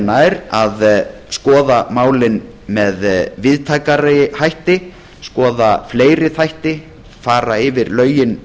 nær að skoða málin með víðtækari hætti skoða fleiri þætti fara yfir lögin